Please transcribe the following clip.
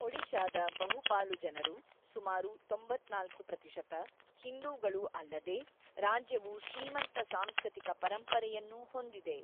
ಒಡಿಶಾದ ಬಹುಪಾಲು ಜನರು (ಸುಮಾರು ತೊಂಬತ್ತ್ನಾಲ್ಕು ಪ್ರತಿಶತ) ಹಿಂದೂಗಳು ಅಲ್ಲದೇ ರಾಜ್ಯವು ಶ್ರೀಮಂತ ಸಾಂಸ್ಕೃತಿಕ ಪರಂಪರೆಯನ್ನೂ ಹೊಂದಿದೆ.